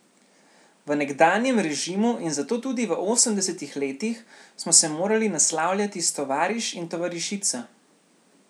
V nekdanjem režimu in zato tudi v osemdesetih letih smo se morali naslavljati s tovariš in tovarišica.